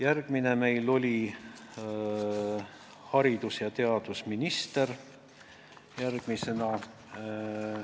Järgmine oli meil haridus- ja teadusminister.